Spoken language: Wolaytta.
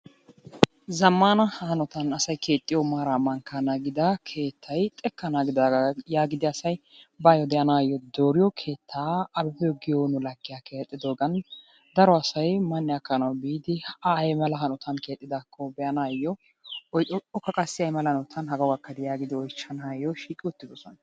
Zammana hanottan asay keexiyo maara mankka naagida keettay xekka naagidagaa yaagidi asay bayo deanawu dooriyo keettaa albiyo giyo melakiya keexidogan daro asay man'iyaa gakkanawu biidi A aymala hanottan keexidakko beanayo okka aymala hanottan hagawu gakkadi gidi oychchanayo shiiqi uttidosona.